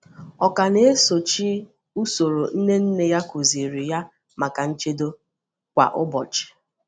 Ọ ka na-esochi usoro nne nne ya kụ̀zìrì ya maka nchedo kwa ụbọchị.